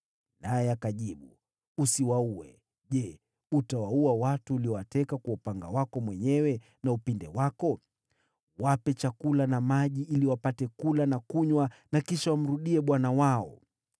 Naye akajibu, “Usiwaue. Je, utawaua watu uliowateka kwa upanga wako mwenyewe na upinde wako? Wape chakula na maji ili wapate kula na kunywa, na kisha wamrudie bwana wao.”